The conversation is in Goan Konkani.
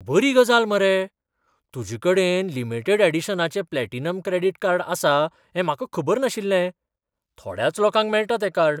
बरी गजाल मरे! तुजे कडेन लिमिडेट ऍडिशनाचें प्लॅटिनम क्रॅडीट कार्ड आसा हें म्हाका खबर नाशिल्लें. थोड्याच लोकांक मेळटा तें कार्ड.